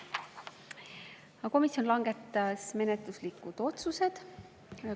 Komisjon langetas menetluslikud otsused.